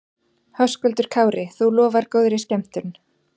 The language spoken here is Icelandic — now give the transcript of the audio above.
Höskuldur Kári: Þú lofar góðri skemmtun?